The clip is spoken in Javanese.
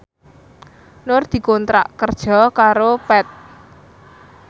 Nur dikontrak kerja karo Path